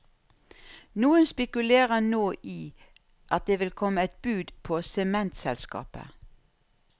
Noen spekulerer nå i at det vil komme et bud på sementselskapet.